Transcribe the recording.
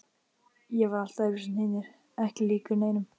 Ég var allt öðruvísi en hinir, ekki líkur neinum.